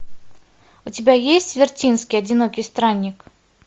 у тебя есть вертинский одинокий странник